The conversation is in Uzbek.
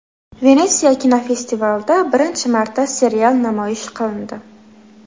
Venetsiya kinofestivalida birinchi marta serial namoyish qilindi.